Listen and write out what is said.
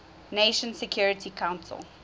nations security council